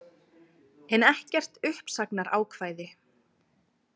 En ekkert uppsagnarákvæði.